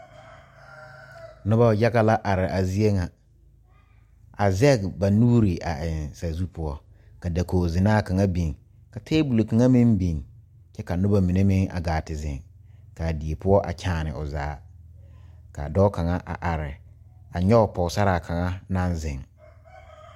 Noba yaga la are a zie ŋa a zage ba nuure a eŋ saazu poɔ ka dakogi zenaa kaŋa biŋ ka tabol kaŋa meŋ biŋ kyɛ ka noba mine meŋ a gaa te zeŋ kaa die poɔ a kyaane o zaa ka dɔɔ kaŋa a are a nyoŋ Pɔgesera kaŋa naŋ zeŋ.